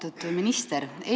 Austatud minister!